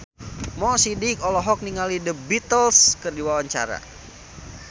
Mo Sidik olohok ningali The Beatles keur diwawancara